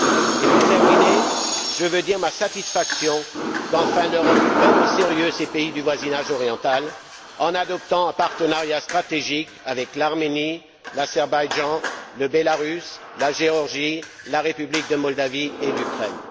Et, pour terminer, je veux dire ma satisfaction qu'enfin l'Europe prenne au sérieux les pays du voisinage oriental en adoptant un partenariat stratégique avec l'Arménie, l'Azerbaïdjan, le Bélarus, la Géorgie, la République de Moldavie et l'Ukraine.